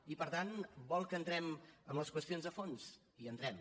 i per tant vol que entrem en les qüestions de fons hi entrem